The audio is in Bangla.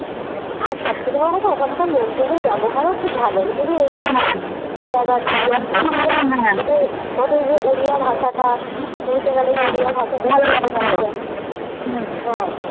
আর সবথেকে বড়ো কথা ওখানকার লোকজনের ব্যাবহারও খুব ভালো ওড়িয়া ভাষাটা, পুরীতে গেলে ওড়িয়া ভাষাটা হুম হ্যাঁ